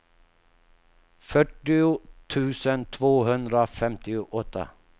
fyrtio tusen tvåhundrafemtioåtta